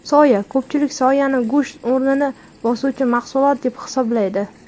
Soya Ko‘pchilik soyani go‘sht o‘rnini bosuvchi mahsulot deb hisoblaydi.